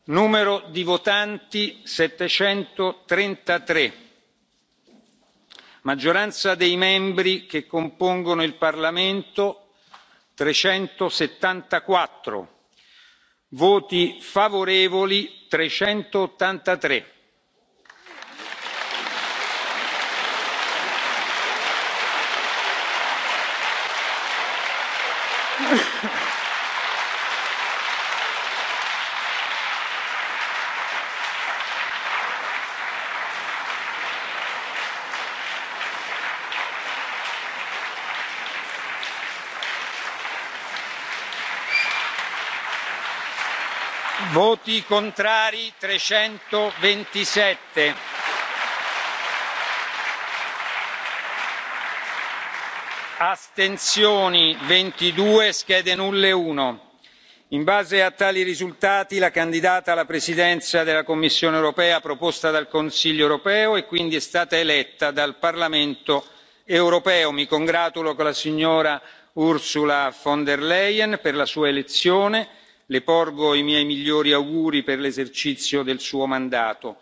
Cari colleghi la seduta è ripresa. Annuncio l'esito dello scrutinio numero di votanti 733. Maggioranza dei membri che compongono il Parlamento 374. Voti favorevoli 383. Voti contrari 327. Astensioni 22, schede nulle 1. In base a tali risultati, la candidata alla Presidenza della Commissione europea, proposta dal Consiglio europeo è quindi stata eletta dal Parlamento europeo. Mi congratulo con la signora Ursula von der Leyen per la sua elezione e le porgo i miei migliori auguri per l'esercizio del suo mandato.